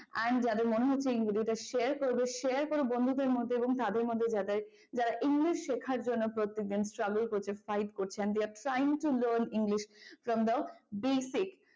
and যাদের মনে হচ্ছে ইংরেজিটা share করবে share করো বন্ধুদের মধ্যে এবং তাদের মধ্যে যাদের যারা english শেখার জন্য প্রত্যেকদিন struggle করছে fight করছে they are trying to learn english from the basic